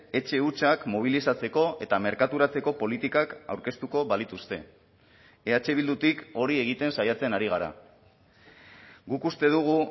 etxe hutsak mobilizatzeko eta merkaturatzeko politikak aurkeztuko balituzte eh bildutik hori egiten saiatzen ari gara guk uste dugu